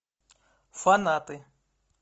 фанаты